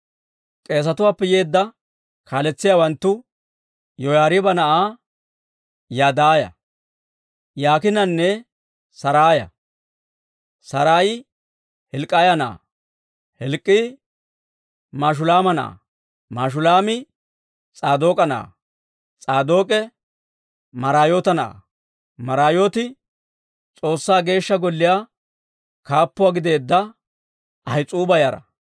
K'eesetuwaappe yeedda kaaletsiyaawanttu Yoyaariiba na'aa Yadaaya, Yaakiinanne Saraaya. Saraayi Hilk'k'iyaa na'aa; Hilk'k'ii Mashulaama na'aa; Mashulaami S'aadook'a na'aa; S'aadook'e Maraayoota na'aa; Maraayooti S'oossaa Geeshsha Golliyaa kaappuuwaa gideedda Ahis'uuba yara.